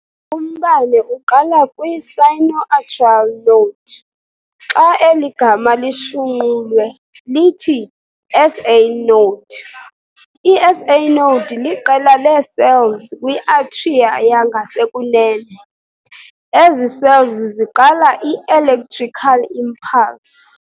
Umbane uqala kwi-"sino-atrial node". Xa eli gama lishunqulwe lithi-SA Node. I-SA Node liqela lee-cells kwi-atria yangasekunene. ezi cells ziqala i-"electrical impulse".